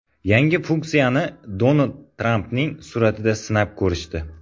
Yangi funksiyani Donald Trampning suratida sinab ko‘rishdi.